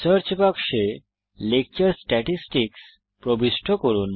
search বাক্সে lecture statistics প্রবিষ্ট করুন